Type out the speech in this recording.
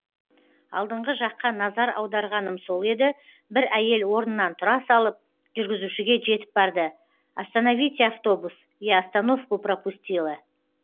алдыңғы жаққа назар аударғаным сол еді бір әйел орнынан тұра салып жүргізушіге жетіп барды остоновите автобус я остановку пропустила